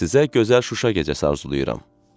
Sizə gözəl Şuşa gecəsi arzulayıram.